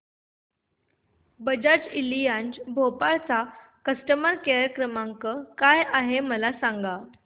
Bajaj Allianz Bhopal चा customer care क्रमांक काय आहे मला सांगा